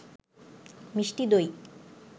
মিষ্টি দই